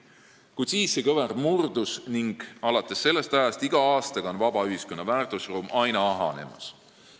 Kuid siis see kõver murdus ning vaba ühiskonna väärtusruum on iga aastaga aina ahenenud.